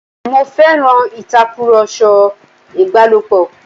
Mo féràn ìtakùrọ̀sọ ìbálòpọ̀.